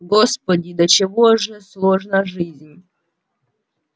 господи до чего же сложно жизнь